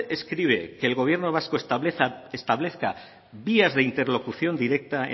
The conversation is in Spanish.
escribe que el gobierno vasco establezca vías de interlocución directa